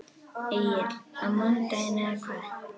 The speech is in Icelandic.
Egill: Á mánudaginn eða hvað?